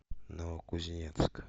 новокузнецк